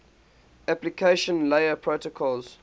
application layer protocols